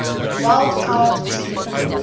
wild card team